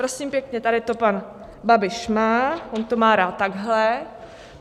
Prosím pěkně, tady to pan Babiš má, on to má rád takhle.